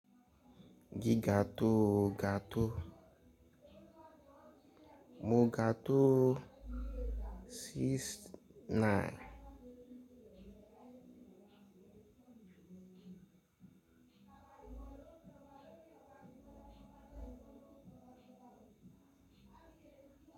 Gi ga tó o ga tó. Mo ga tó sixth nine.